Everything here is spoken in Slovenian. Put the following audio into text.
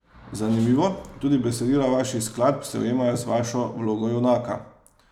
Zanimivo, tudi besedila vaših skladb se ujemajo z vašo vlogo junaka.